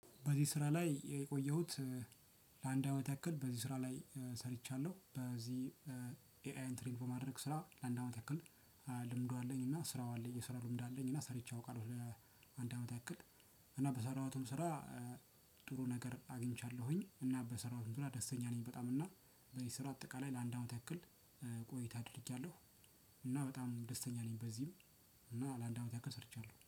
በዚህ ስራ ላይ የቆየሁት። አንድ አመት ያክል በዚህ ስራ ላይ ሰርቻለሁ፤ በዚህ ኤአይን ትሬይን በማድረግ ስራ ለአንድ አመት ያክል። ለመዱ አለኝና ስራው አለኝ፤ የስራ ልምድ አለኝ እና ሰርቼ አውቃለሁ አንድ አመት ያክል፤ እና በሰራሁትም ስራ ጥሩ ነገረ አግኝቻለሁኝ፤ እና በሰራሁት ዙሪያ ደስተኛ ነኝ በጣም። በዚህ ስራ አጠቃላይ ለአንድ አመት ያክል ቆይታ አድርጌያለሁ፤ እና በጣም ደስተኛ ነኝ። በዚህ እና ለአንድ አመት ያክል ሰርቻለሁ፤